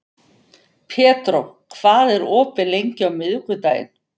Pedró, hvað er opið lengi á miðvikudaginn?